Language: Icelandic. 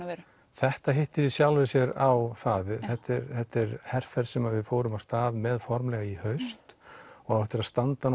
þetta hittir í sjálfu sér bara á þetta er þetta er herferð sem við fórum af stað með formlega í haust og á eftir að standa